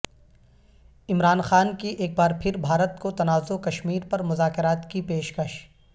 عمران خان کی ایک بار پھر بھارت کو تنازع کشمیر پر مذاکرات کی پیش کش